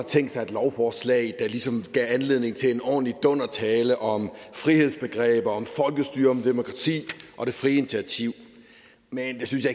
tænkt sig et lovforslag der ligesom gav anledning til en ordentlig dundertale om frihedsbegreber om folkestyre om demokrati og det frie initiativ men det synes